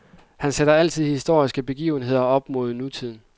Han sætter altid historiske begivenheder op mod nutiden.